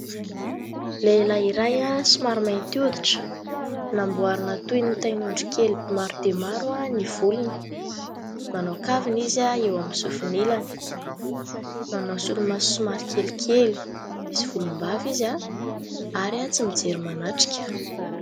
Lehilahy iray somary mainty hoditra namboarina toy ny tain'ondry kely maro dia maro ny volony, manao kavina izy eo amin'ny sofin'ilany, manao solomaso somary kelikely, misy volombava izy ary tsy mijery manatrika.